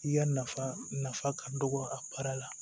I ya nafa nafa ka dɔgɔ a baara la